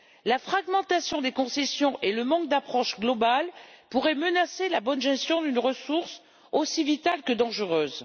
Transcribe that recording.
La fragmentation des concessions et le manque d'approche globale pourraient menacer la bonne gestion d'une ressource aussi vitale que dangereuse.